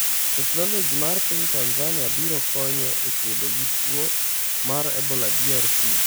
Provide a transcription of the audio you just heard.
Teknoloji mar piny Tanzania biro konyo e kedo gi tuo mar Ebola DRC